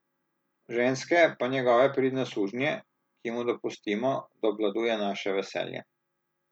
Ženske pa njegove pridne sužnje, ki mu dopustimo, da obvladuje naše veselje.